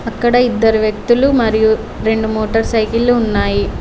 అక్కడ ఇద్దరు వ్యక్తులు మరియు రెండు మోటార్ సైకిల్లు ఉన్నాయి.